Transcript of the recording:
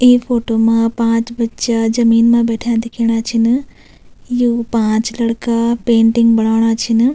ई photo मा पांच बच्चा जमीन मा बैठ्याँ दिखेणा छिन यु पांच लड़का पेंटिंग बणाेणा छिन।